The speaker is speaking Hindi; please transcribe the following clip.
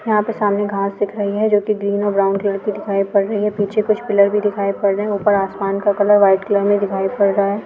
यहाँ पर सामने घाँस दिख रही है जो की ग्रीन और ब्राउन कलर की दिखाई पड़ रही है | पीछे कुछ पिलर भी दिखाई पड़ रहे हैं | ऊपर आसमान का कलर व्हाइट कलर में दिखाई पड़ रहा है।